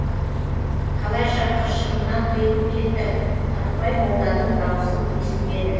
қалайша қыршынынан қиылып кеттің қырықбай молданың даусын естімеді